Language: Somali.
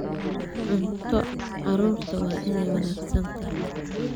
Cunto carruurtu waa inay wanaagsan tahay.